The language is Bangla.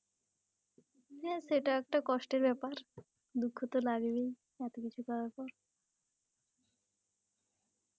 যে সেটা একটা কষ্টের বেপার, দুঃখ তো লাগবেই এত কিছু করার পর.